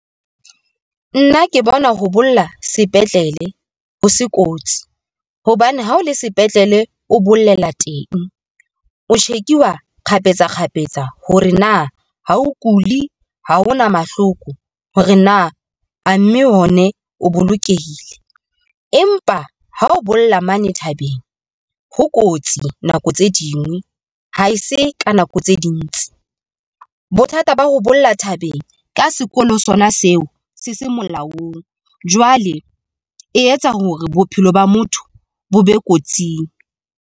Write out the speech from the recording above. Nna ke bona ho bolla sepetlele ho se kotsi hobane ha o le sepetlele, o bollela teng, o check-iwa kgafetsa kgafetsa hore na ha o kuli ha hona mahloko, hore na a mme one o bolokehile. Empa ha o bolla mane thabeng, ho kotsi nako tse dingwe ha e se ka nako tse dintse bothata ba ho bolla thabeng ka sekolo sona seo se se molaong jwale e etsa hore bophelo ba motho bo be kotsing.